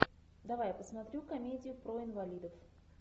давай я посмотрю комедию про инвалидов